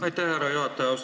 Aitäh, härra juhataja!